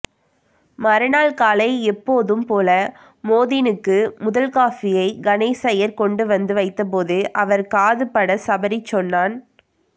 மறுநாள் காலை எப்போதும் போல மோதீனுக்கு முதல்காபியை கணேசய்யர் கொண்டு வந்து வைத்தபோது அவர் காது படச் சபரி சொன்னான்